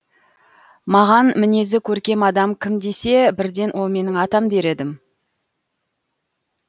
маған мінезі көркем адам кім десе бірден ол менің атам дер едім